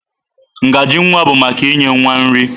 Ngaji nwa bụ maka inye nwa nri.